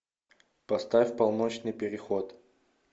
поставь полночный переход